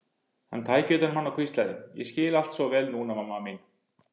Hann tæki utan um hana og hvíslaði: Ég skil allt svo vel núna, mamma mín.